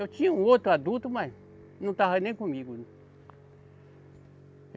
Eu tinha um outro adulto, mas não estava nem comigo.